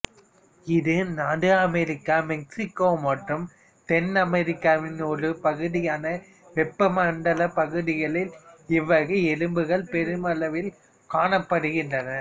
இது நடு America Mexico மற்றும் தென்னமெரிக்காவின் ஒரு பகுதியான வெப்பமண்டல பகுதிகளில் இவ்வகை எறும்புகள் பெருமளவில் காணப்படுகிறன